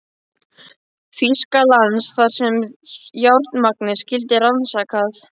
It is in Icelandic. Þýskalands, þar sem járnmagnið skyldi rannsakað.